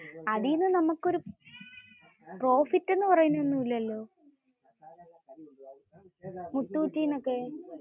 അതിൽ നിന്ന് നമുക്കു ഒരു പ്രോഫിറ് എന്ന് പറയുന്ന ഒന്നുമില്ലല്ലോ? മുത്തൂറ്റിന്ന് ഒക്കെ.